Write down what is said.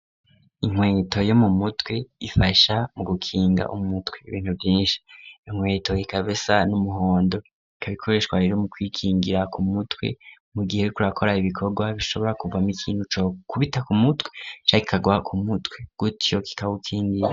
Inkweto yo mu mutwe ifasha mu gukinga umutwe ibintu vyinshi .Inkweto ikabisa n'umuhondo ikabikoreshwa rero mu kwikingira ku mutwe mu gihe kurakora ibikorwa bishobora kuvamo ikintu co kubita ku mutwe kikagwa ku mutwe gutyo kikabukingira.